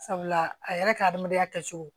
Sabula a yɛrɛ ka adamadenya kɛcogo